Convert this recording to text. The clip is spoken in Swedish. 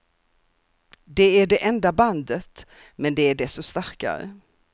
Det är det enda bandet, men det är desto starkare.